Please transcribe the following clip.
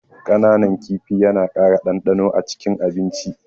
Kananan kifi yana ƙara ɗanɗano acikin abinci.